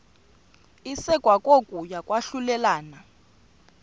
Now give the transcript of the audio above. isekwa kokuya kwahlulelana